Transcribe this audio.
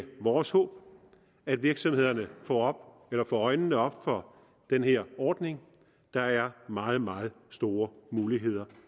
vores håb at virksomhederne får øjnene op for den her ordning der er meget meget store muligheder